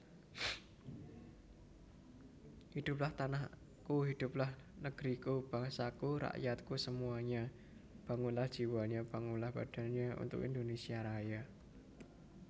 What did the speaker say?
Hiduplah tanahku Hiduplah neg riku Bangsaku Rakyatku semuanya Bangunlah jiwanya Bangunlah badannya Untuk Indonésia Raya